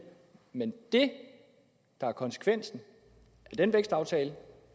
men det der er konsekvensen af den vækstaftale